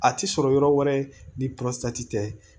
A ti sɔrɔ yɔrɔ wɛrɛ ni tɛ